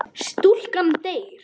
Stúlkan deyr.